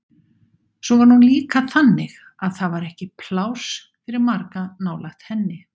Svo var hún líka þannig að það var ekki pláss fyrir marga nálægt henni.